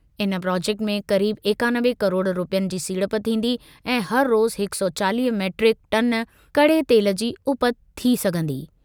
इन प्रोजेक्ट में क़रीब एकानवे किरोड़ रूपयनि जी सीड़प थींदी ऐं हर रोज़ हिक सौ चालीह मीट्रिक टन कड़े तेल जी उपति थी सघंदी।